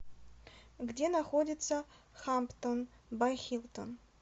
где находится хамптон бай хилтон